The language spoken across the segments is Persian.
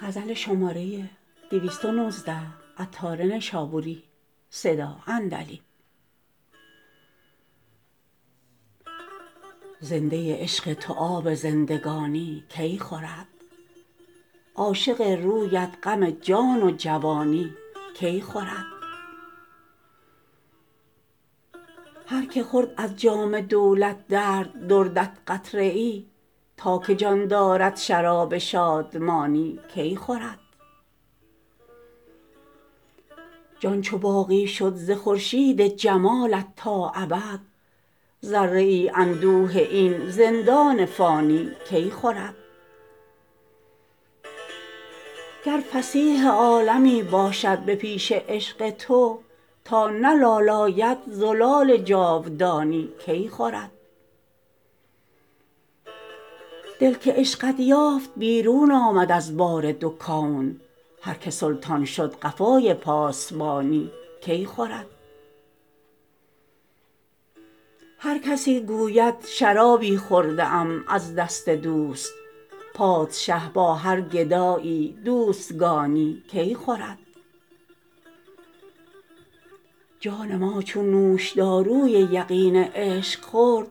زنده عشق تو آب زندگانی کی خورد عاشق رویت غم جان و جوانی کی خورد هر که خورد از جام دولت درد دردت قطره ای تا که جان دارد شراب شادمانی کی خورد جان چو باقی شد ز خورشید جمالت تا ابد ذره ای اندوه این زندان فانی کی خورد گر فصیح عالمی باشد به پیش عشق تو تا نه لال آید زلال جاودانی کی خورد دل که عشقت یافت بیرون آمد از بار دو کون هر که سلطان شد قفای پاسبانی کی خورد هر کسی گوید شرابی خورده ام از دست دوست پادشه با هر گدایی دوستگانی کی خورد جان ما چون نوش داروی یقین عشق خورد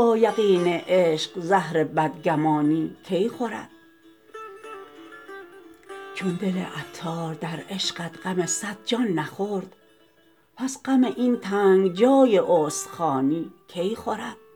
با یقین عشق زهر بدگمانی کی خورد چون دل عطار در عشقت غم صد جان نخورد پس غم این تنگ جای استخوانی کی خورد